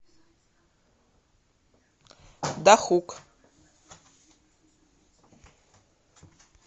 дахук